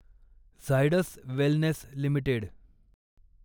Zydus wellness limited